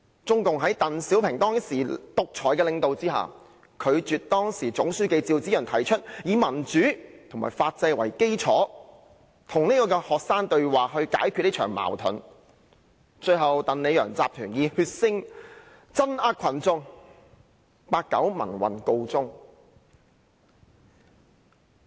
中共在鄧小平當時獨裁的領導下，拒絕時任總書記趙紫陽提出以民主和法制為基礎與學生對話來解決這場矛盾；最後，鄧、李、楊集團以血腥鎮壓群眾，八九民運告終。